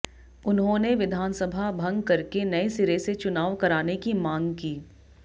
उन्होंने विधानसभा भंग करके नए सिरे से चुनाव कराने की मांग की